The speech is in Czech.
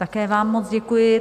Také vám moc děkuji.